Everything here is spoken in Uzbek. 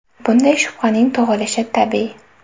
Bunday shubhaning tug‘ilishi tabiiy.